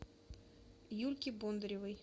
юльке бондаревой